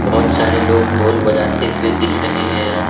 बहोत सारे लोग ढोल बजाते हुए दिख रहे है।